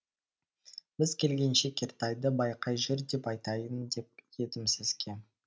біз келгенше кертайды байқай жүр деп айтайын деп едім сізге